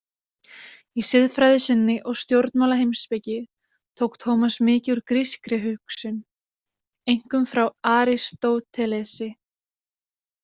Í siðfræði sinni og stjórnmálaheimspeki tók Tómas mikið úr grískri hugsun, einkum frá Aristótelesi.